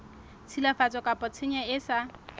tshilafatso kapa tshenyo e sa